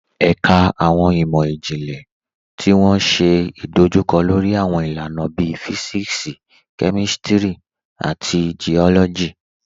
Ẹ̀kà awọn imọ-jinlẹ̀ tó wọ́n ṣé idojúkọ̀ lórí awọn ilànà bíí Físíksì, Kémístírì, àti Geólọ́jì.